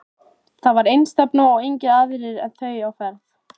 Þar var einstefna og engir aðrir en þau á ferð.